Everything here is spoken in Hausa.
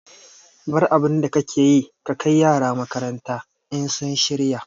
Bar abinda kake yi ka kai yara makaranta in sun shirya